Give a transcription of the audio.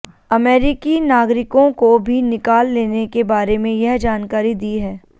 अमेरिकी नागरिकों को भी निकाल लेने के बारे में यह जानकारी दी है